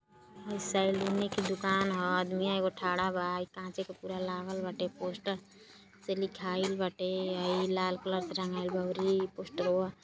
हई सैलूने के दूकान ह आदिमिया एगो खड़ा बा हई काँचे के पूरा लागल बाटे पोस्टर से लिखाइल बाटे अउरी लाल कलर से रंगाइल बा अउरी पोस्टरवा --